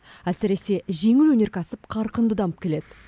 әсіресе жеңіл өнеркәсіп қарқынды дамып келеді